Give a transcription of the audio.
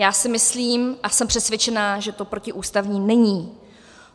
Já si myslím a jsem přesvědčená, že to protiústavní není.